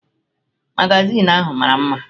Magazin ahụ mara mma